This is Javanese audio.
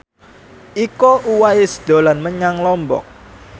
Iko Uwais dolan menyang Lombok